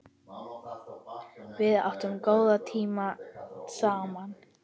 Við áttum góða tíma saman.